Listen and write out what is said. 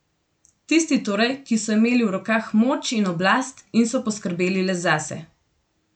Tisti torej, ki so imeli v rokah moč in oblast in so poskrbeli le zase.